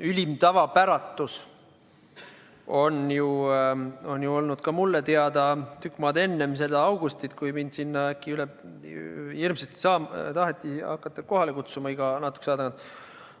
ülim tavapäratus on olnud ka mulle teada tükk maad enne seda augustit, kui mind äkki hirmsasti taheti hakata sinna iga natukese aja tagant kohale kutsuma.